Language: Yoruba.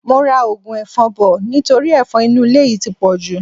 Mo ra ogun efon bò nítorí efon inú ilé yìí ti pọ̀jù.